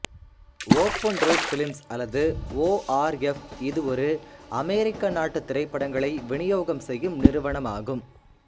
open road films அல்லது ORF இது ஒரு அமெரிக்க நாட்டு திரைப்படங்களை விநியோகம் செய்யும் நிறுவனமாகும்